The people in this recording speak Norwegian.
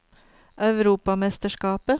europamesterskapet